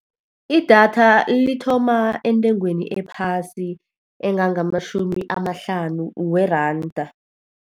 Idatha lithoma entengweni ephasi, engangamatjhumi amahlanu weranda.